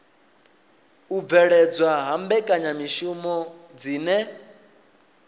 u bveledzwa ha mbekanyamishumo dzine